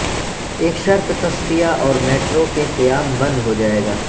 ایک شرط تصفیہ اور میٹرو کے قیام بند ہو جائے گا